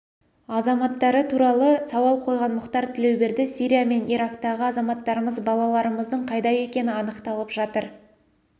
азаматтары туралы сауал қойған мұхтар тілеуберді сирия мен ирактағы азаматтарымыз балаларымыздың қайда екені анықталып жатыр